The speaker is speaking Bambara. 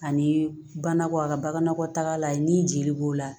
Ani banakɔ a ka bagan nakɔ taga la ye ni jeli b'o la